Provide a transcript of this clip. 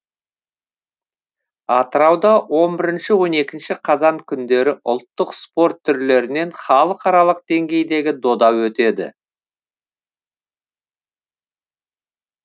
атырауда он бірінші он екінші қазан күндері ұлттық спорт түрлерінен халықаралық деңгейдегі дода өтеді